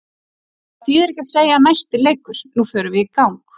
Það þýðir ekki að segja næsti leikur, nú förum við í gang.